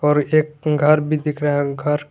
और एक उनकार भी दिख रहा हैं उनकार।